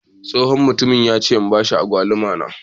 Tsohon mutumin ya ce in bashi Agwaluma na.